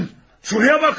Şuraya bakın!